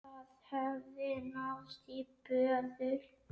Það hafði náðst í böðul.